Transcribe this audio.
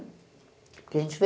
Porque a gente vê...